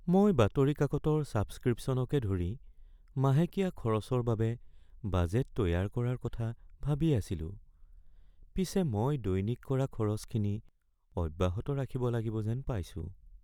মই বাতৰি কাকতৰ ছাবস্ক্ৰিপশ্যনকে ধৰি মাহেকীয়া খৰচৰ বাবে বাজেট তৈয়াৰ কৰাৰ কথা ভাবি আছিলো পিছে মই দৈনিক কৰা খৰচখিনি অব্যাহত ৰাখিব লাগিব যেন পাইছোঁ।